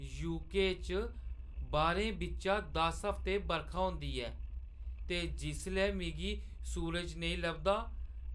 UK. च बारें बिच्चा दस हफ्ते बरखा होंदी ऐ ते जिसलै मिगी सूरज नेईं लभदा